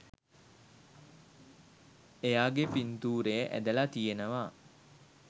එයාගෙ පින්තූරය ඇඳලා තියෙනවා